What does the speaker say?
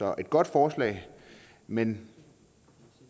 er et godt forslag men